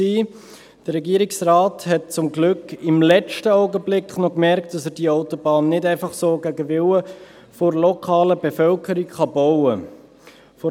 Der Regierungsrat hat zum Glück im letzten Augenblick noch bemerkt, dass er die Autobahn nicht einfach so gegen den Willen der lokalen Bevölkerung bauen kann.